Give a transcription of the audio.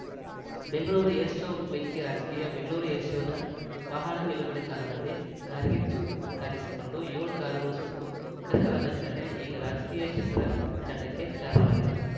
Bengaluru air show ಬೆಂಕಿ ರಾಜಕೀಯ Bengaluru air ಶೋದ ವಾಹನ ನಿಲುಗಡೆ ತಾಣದಲ್ಲಿ ಕಾರ್ಗಿಚ್ಚು ಕಾಣಿಸಿಕೊಂಡು ಎಳು ಕಾರುಗಳು ಸುಟ್ಟು ಕರಕಲಾದ ಘಟನೆ ಈಗ ರಾಜಕೀಯ ಕೆಸರೆ ರಚಾಟಕ್ಕೆ ಕಾರಣವಾಗಿದೆ